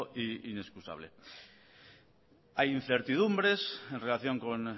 e inexcusable hay incertidumbres en relación con